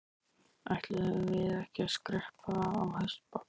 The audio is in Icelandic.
Ætluðum við ekki að skreppa á hestbak?